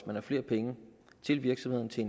man har flere penge til virksomheden til